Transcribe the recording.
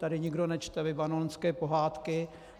Tady nikdo nečte libanonské pohádky.